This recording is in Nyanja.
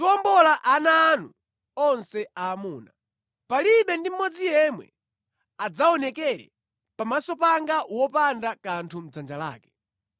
Muziwombola mwana woyamba kubadwa wa bulu popereka mwana wankhosa. Mukapanda kumuwombola mupheni. Muziwombola ana anu onse aamuna. “Palibe ndi mmodzi yemwe adzaonekere pamaso panga wopanda kanthu mʼdzanja lake.